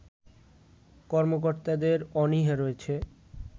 কর্মকর্তাদের অনীহা রয়েছে